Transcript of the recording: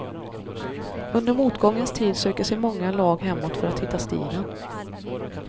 Under motgångens tid söker sig många lag hemåt för att hitta stilen.